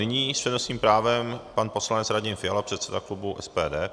Nyní s přednostním právem pan poslanec Radim Fiala, předseda klubu SPD.